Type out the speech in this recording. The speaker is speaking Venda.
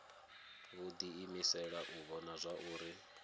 vho diimisela u vhona zwauri